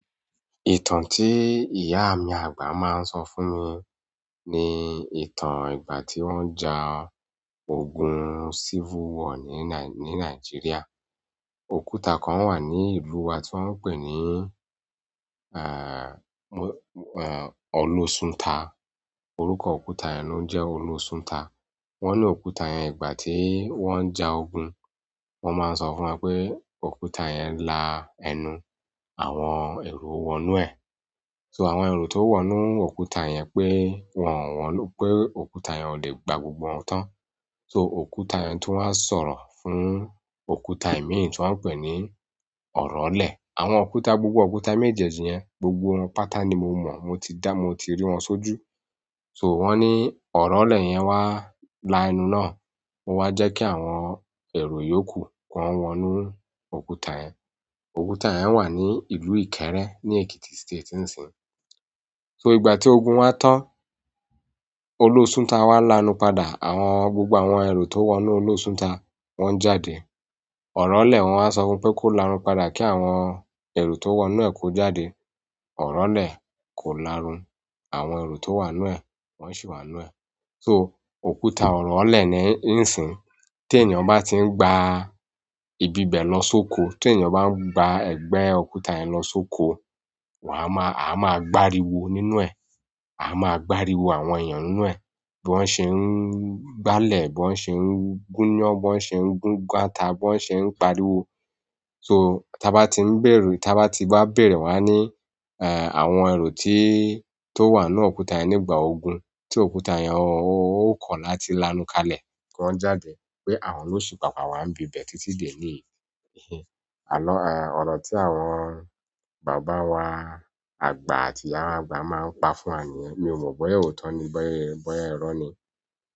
Ìtàn tí ìyá mi àgbà máa ń sọ fún mi ni ìtàn ìgbà tí wọ́n ń ja ogun civil war ní Nai-ní Nigeria. Òkúta kan wà ní ìlú wa tí wọ́n ń pè ní, eh, Olosunta. Orúkọ òkúta yẹn jẹ Olosunta. Wọ́n ní òkúta yẹn ìgbà tí wọ́n ń ja ogun. Wọ́n máa ń sọ fún wa pé òkúta yẹn la ẹnu àwọn ẹro wọ inú ẹ̀. So àwọn ẹro tó wọ nú òkúta yẹn pé wọn wọ́n ló pé òkúta yẹn ò lè gba gbogbo wọn tán. So òkúta yẹn tun wáa sọ̀rọ̀ fún òkúta ìmi tí wọ́n ń pè ní Ọ̀rọ̀lẹ̀. Àwọn òkúta, gbogbo òkúta méjèèjì yẹn, gbogbo wọn pátá ni mo, mo ti dá, mo ti rí wọn sójú. So wọ́n ní Ọ̀rọ̀lẹ̀ yẹn wá la ẹnu náà. Ó wá jẹ́ kí àwọn ẹrú yóò kú. Kan woonu òkúta yen. Òkúta yẹn wà ní ìlú Ìkẹ́rẹ́ ní Ekiti State nísìínyi. So ìgbà tí ogun wa tán, Olosunta wá la ẹnu padà. Àwọn gbogbo àwọn ẹrú tó wọ inú Olosunta wọ́n jáde. Ọ̀rọ̀lẹ̀ wọ́n wá sọ fún un pé kó la ẹnu padà kí àwọn ẹro tó wọ inú ẹ̀ kó jáde. Ọ̀rọ̀lẹ̀ kò lárùn. Àwọn eri to wa nínú e wo si wa nínú e, so òkúta orole nisiin, ti eyan ba ti ngba ibi bẹ̀ lọ sóko, tí ènìyàn bá ń gba ẹgbẹ́ òkúta yẹn lọ sóko, wàá máa, a máa a gbá'ri wo nínú ẹ̀. A máa a gbá'ri wo àwọn èèyàn nínú ẹ̀. Bí wọ́n ṣe ń gbá lẹ̀, bí wọ́n ṣe ń gúnyán, bí wọ́n ṣe ń gunáta, bí wọ́n ṣe ń pariwo. So tí a bá ti ń béèrè, tí a bá ti bá béèrè wá ní, eh, àwọn ẹrú tí tó wà nínú òkúta yẹn nígbà ogun, tí òkúta yẹn ó, ó kọ̀ láti láńukalẹ̀ kí wọ́n jáde pé àwọn ló ṣípa wa ń bi bẹ̀ títí dè níyi àló, eh, ọ̀rọ̀ tí àwọn bàbá wa àgbà àti ìyá wa àgbà máa ń pa fún wa ni. Mi ò mọ̀ bóyá òótọ́ ni, bóyá, bóyá irọ́ ni.